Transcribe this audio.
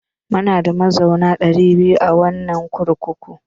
Munada mazauna ɗari biyar a wannan kurkukun.